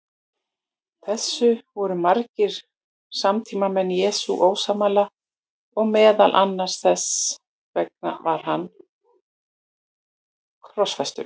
Þessu voru margir samtímamenn Jesú ósammála og meðal annars þess vegna var hann krossfestur.